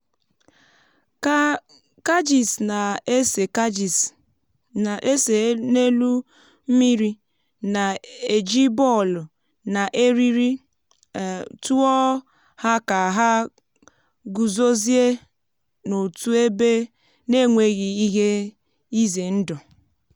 kajis na-ese kajis na-ese n’elu mmiri na-eji bọọlụ na eriri um tụọ ha ka ha guzozie n’otu ebe n’enweghị ihe ize ndụ